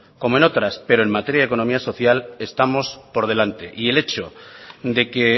como en otras pero en materia de economía y social estamos por delante y el hecho de que